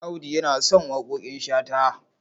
Audu yana son waƙoƙin Shata.